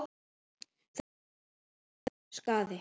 Þar er bugur tjón, skaði.